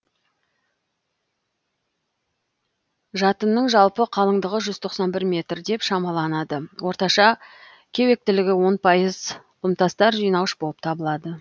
жатынның жалпы қалыңдығы жүз тоқсан бір метр деп шамаланады орташа кеуектілігі он пайыз құмтастар жинауыш болып табылады